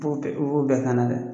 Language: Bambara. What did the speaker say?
B'u bɛɛ, i b'u bɛɛ kana dɛ!